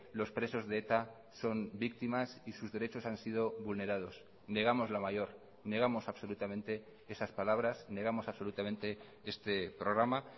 los presos de eta son víctimas y sus derechos han sido vulnerados negamos la mayor negamos absolutamente esas palabras negamos absolutamente este programa